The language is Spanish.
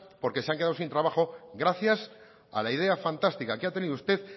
porque se han quedado sin trabajo gracias a la idea fantástica que ha tenido usted